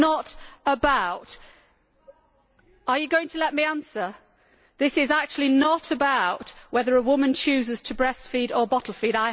This is not actually about whether a woman chooses to breast feed or bottle feed.